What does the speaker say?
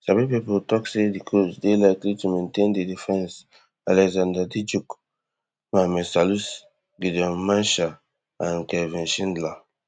sabi pipo tok say di coach dey likely to maintain di defense alexander djiku mohammed salisu gideon mensah and kelvin schindler